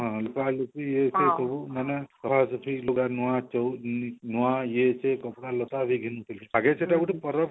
ହଁ ଇଏ ସିଏ ସବୁ ମାନେ ଘର ପୋଛି ଲୁଗା ନୂଆ ଚଉଳ ନୂଆ ଇଏ ସିଏ କପଡା ଲତା ସବୁ ଘିନୁଥିଲେ ଆଗେ ସେଟା ଗୁଟେ ପର୍ବ